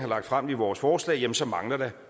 lagt frem i vores forslag jamen så mangler der